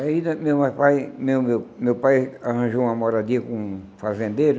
Aí né meu pai meu meu meu pai arranjou uma moradia com um fazendeiro,